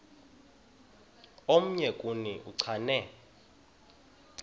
omnye kuni uchane